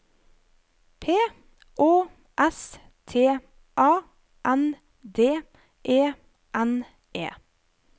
P Å S T A N D E N E